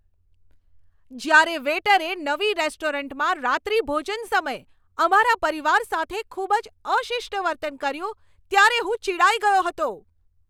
જ્યારે વેઈટરે નવી રેસ્ટોરન્ટમાં રાત્રિભોજન સમયે અમારા પરિવાર સાથે ખૂબ જ અશિષ્ટ વર્તન કર્યું ત્યારે હું ચિડાઈ ગયો હતો.